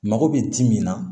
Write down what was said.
Mako bɛ ji min na